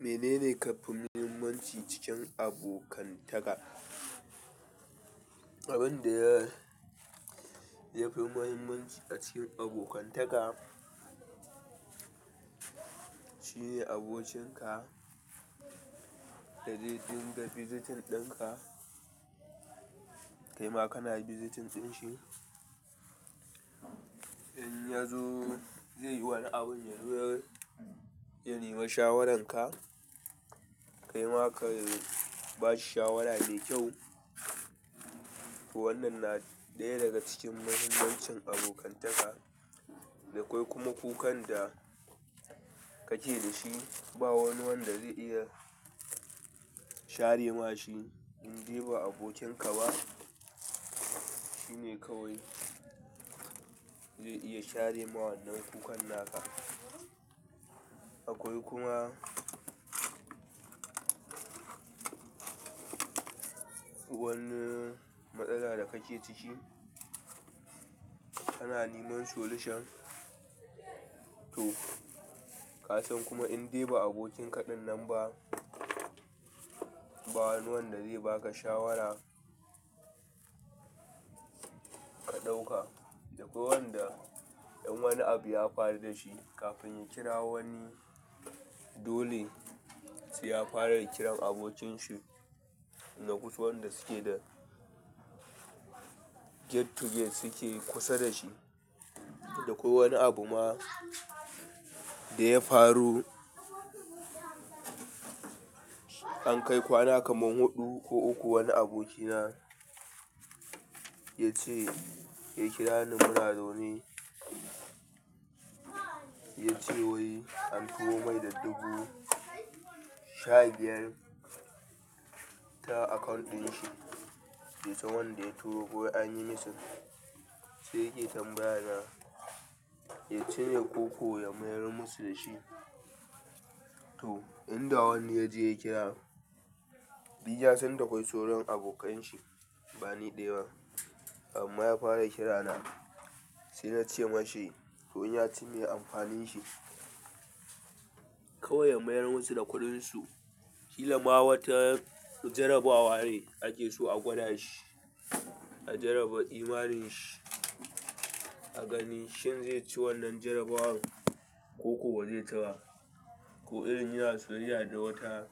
Menene ƙarfin muhimmanci cikin abokantaka? Abin da ya fi muhimmanci a cikin abokantaka shine abokinka da zai dinga visiting ɗinka, kaima kana visiting ɗin shi. In ya zo zai yi wani abin yazo yanema shawaranka, kaima ka ba shi shawara da kyau. To wannan na ɗaya daga cikin muhimmancin abokantaka. Da kwai kuma kukan da kake da shi, ba wani wanda zai iya share ma shi. In dai ba abokinka ba, shine kawai zai iya share mawannan kukan naka. Akwai kuma wani matsala da kake ciki, ana niman solution. To ka san kuma in dai ba abokinka ɗinnan ba, ba wani wanda zai ba ka shawara ka ɗauka. Da akwai wanda in wani abu ya faru da shi, kafin ya kira wani dole sai ya fara kiran abokonshi na kusa wanda suke da gate to gate suke kusa da shi. Da kwai wani abu ma da ya faru, an kai kwana kaman huɗu ko uku wani abokina ya ce "ya kira ni muna zaune", ya ce wai an turo mai da dubu sha biyar ta account ɗin shi, baisan wanda ya turo ko an yi missing, sai yake tambaya na,"ya cire koko ya mayar musu da shi". To in da wani ya je ya kira, ni na san da kwai sauran abokan shi bani ɗaya ba. Amma ya fara kira na, sai na ce ma shi to in ya ci me amfanin shi, kawai ya mayar musu da kuɗin su. Ƙila ma wata jarabawa ne ake so a gwada shi, a jaraba imaninsa, a gani shin zai ci wannan jarabawar koko ba zai ci ba. Ko irin yana soyayya da wata